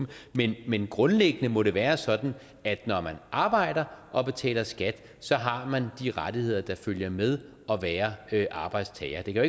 dem men grundlæggende må det være sådan at når man arbejder og betaler skat har man de rettigheder der følger med at være arbejdstager det kan